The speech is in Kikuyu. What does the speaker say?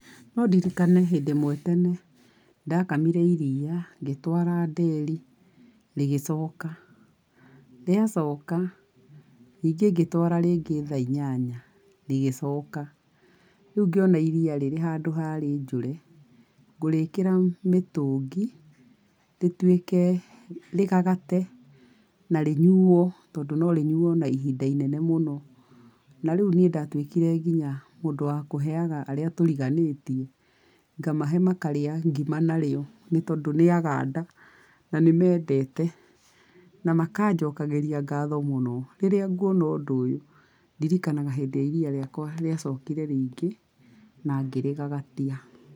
No ndirikane hĩndĩ ĩmwe tene ndakamire iria, ngĩtwara nderi rĩgĩcoka. Rĩa coka, ningĩ ngĩtwara rĩngĩ thaa inyanya, rĩgĩcoka. Rĩu ngĩona iria rĩrĩ handũ rĩ njũre, ngũrĩĩkĩra mĩtũngi, rĩtuĩke, rĩgagate na rĩnyuo tondũ no rĩnyuo na ihinda inene mũno, na rĩu niĩ ndatuĩkire nginya mũndũ wa kũheaga arĩa tũriganĩtie. Ngamahe makarĩa ngima na rĩo, nĩ tondũ nĩ aganda na nĩ mendete, na makanjokagĩria ngatho mũno. Rĩrĩa ngwona ũndũ ũyũ, ndirikanaga hĩndĩ ĩrĩa iria rĩakwa rĩacokire rĩingĩ, na ngĩrĩgagatia.